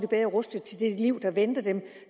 bedre rustet til det liv der venter dem